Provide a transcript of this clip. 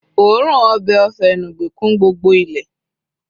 oorun obe ofe enugbe kún gbogbo ile